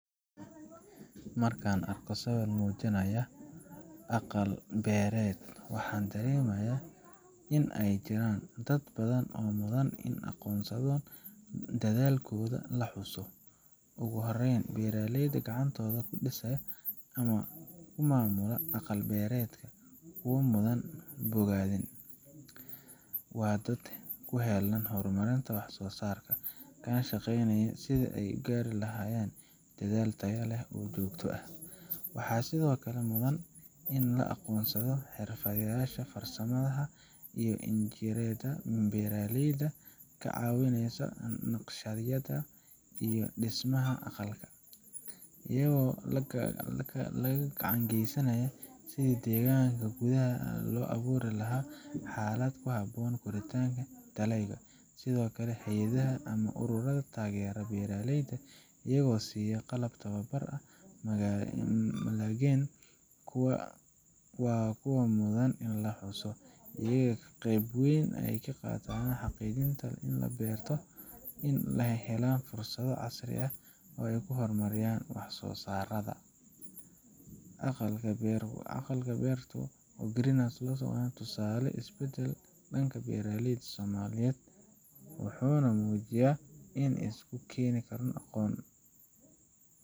Marka aan arko sawir muujinaya aqal-beereed, waxaan dareemaa in ay jiraan dad badan oo mudan in la aqoonsado oo dadaalkooda la xuso. Ugu horreyn, beeraleyda gacantooda ku dhistay ama ku maamula aqal beereedka waa kuwo mudan bogaadin. Waa dad u heellan horumarinta wax-soosaarka, kana shaqeynaya sidii ay u gaari lahaayeen dalag tayo leh oo joogto ah. Waxaa sidoo kale mudan in la aqoonsado xirfadlayaasha farsamada sida injineerrada beeraleyda ka caawiyay naqshadeynta iyo dhismaha aqalka. Iyagu laga gacan geysanaya sidii deegaanka gudaha ah loogu abuuri lahaa xaalad ku habboon koritaanka dalagyada. Sidoo kale, hay’adaha ama ururada taageera beeraleyda iyagoo siiya qalab, tababar ama maalgelin waa kuwo mudan in la xuso. Iyaga ayaa qayb weyn ka ah xaqiijinta in beeraleyda ay helaan fursado casri ah oo ay ku horumariyaan waxsoosaarada. Aqal beertu waa tusaale u ah isbeddelka dhanka beeraleyda Soomaaliyeed, wuxuuna muujinayaa in la isku keeni karo aqoon.